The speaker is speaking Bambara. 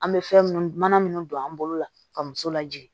An bɛ fɛn minnu mana minnu don an bolo la ka muso lajigin